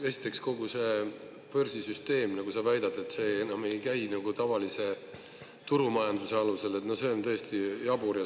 Esiteks, kogu see börsisüsteem, nagu sa väidad, et see enam ei käi nagu tavalise turumajanduse alusel – no see on täiesti jabur.